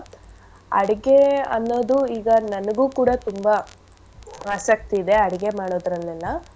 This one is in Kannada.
ಅಡ್ಗೆ ಅನ್ನೋದು ಈಗ ನನ್ಗು ಕೂಡ ತುಂಬಾ ಆಸಕ್ತಿ ಇದೆ ಅಡ್ಗೆ ಮಾಡೋದ್ರಲ್ಲೆಲ್ಲ.